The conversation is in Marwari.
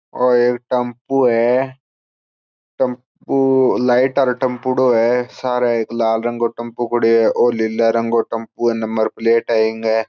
और एक टम्पू है टेम्पो पु लाइट और टम्पूडो है सारा एक लाल रंग के टेम्पो खड़ो ओ नीले रंग के टेम्पो है नम्बर प्लेट है इके।